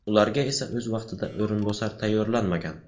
Ularga esa o‘z vaqtida o‘rinbosar tayyorlanmagan.